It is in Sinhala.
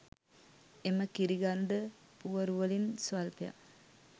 එම කිරිගරුඬ පුවරුවලින් ස්වල්පයක්,